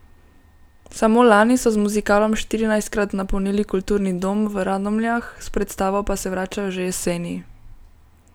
Samo lani so z muzikalom štirinajstkrat napolnili kulturni dom v Radomljah, s predstavo pa se vračajo že jeseni.